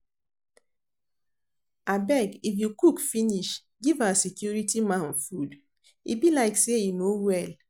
Abeg if you cook finish give our security man food, e be like say e no well